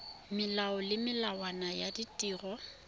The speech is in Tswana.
melao le melawana ya ditiro